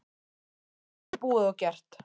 En þetta er búið og gert.